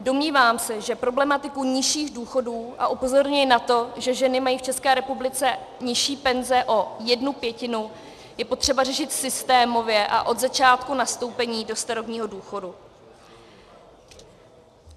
Domnívám se, že problematiku nižších důchodů - a upozorňuji na to, že ženy mají v České republice nižší penze o jednu pětinu - je potřeba řešit systémově a od začátku nastoupení do starobního důchodu.